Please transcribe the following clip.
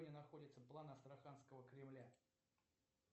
где находится план астраханского кремля